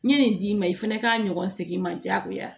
N'i ye nin d'i ma i fana k'a ɲɔgɔn segin ma diyagoya